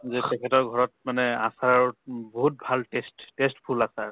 যে তেখেতৰ ঘৰত মানে আচাৰৰ উম বহুত ভাল test test full আচাৰ